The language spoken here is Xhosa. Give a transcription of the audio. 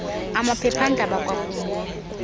amaphepha ndaba kwakunye